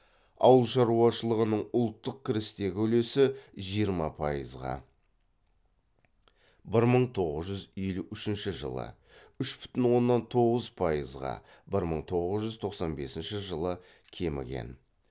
ауыл шаруашылығының ұлттық кірістегі үлесі жиырма пайызға бір мың тоғыз жүз елу үшінші жылы үш бүтін оннан тоғыз пайызға бір мың тоғыз жүз тоқсан бесінші жылы кміген